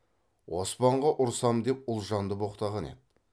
оспанға ұрысам деп ұлжанды боқтаған еді